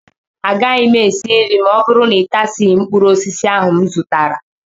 Agaghị m esi nri ma ọ bụrụ na ịtasịghị mkpụrụ osisi ahụ m zụtara